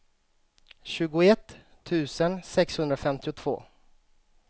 tjugoett tusen sexhundrafemtiotvå